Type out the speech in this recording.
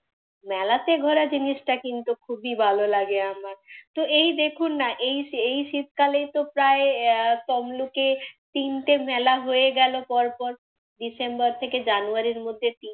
মেলাতে ঘোরা জিনিসটা কিন্তু খুবই ভালো লাগে আমার। তো এই দেখুন না, এই এই শীতকালে তো প্রায় আহ তমলুকে তিনটে মেলা হয়ে গেলো পরপর, ডিসেম্বর থেকে জানুয়ারির মধ্যে